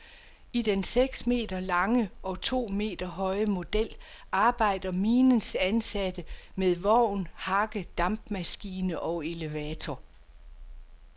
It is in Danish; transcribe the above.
I den seks meter lange og to meter høje model arbejder minens ansatte med vogn, hakke, dampmaskine og elevator.